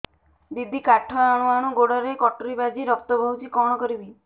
ଦିଦି କାଠ ହାଣୁ ହାଣୁ ଗୋଡରେ କଟୁରୀ ବାଜି ରକ୍ତ ବୋହୁଛି କଣ କରିବି